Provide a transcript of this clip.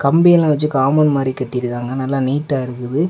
கம்பியெல்லா வச்சு காம்பௌண்ட் மாதிரி கட்டி இருக்காங்க நல்லா நீட்டா இருக்குது.